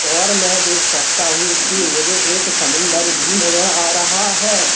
और में देख सकता हूं कि मुझे एक समुंदर भी नजर आ रहा है।